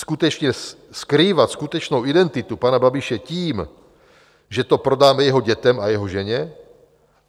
Skrývat skutečnou identitu pana Babiše tím, že to prodáme jeho dětem a jeho ženě?